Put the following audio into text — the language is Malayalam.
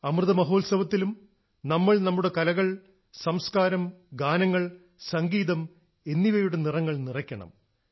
അമൃത മഹോത്സവത്തിലും നമ്മൾ നമ്മുടെ കലകൾ സംസ്ക്കാരം ഗാനങ്ങൾ സംഗീതം എന്നിവയുടെ നിറങ്ങൾ നിറയ്ക്കണം